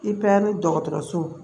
I bɛ ni dɔgɔtɔrɔso